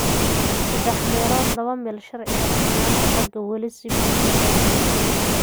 Saddex meelood laba meel sharciga sinnaanta ragga weli si buuxda looma hirgelin.